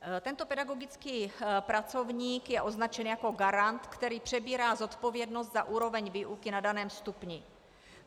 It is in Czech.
Tento pedagogický pracovník je označen jako garant, který přebírá zodpovědnost za úroveň výuky na daném stupni.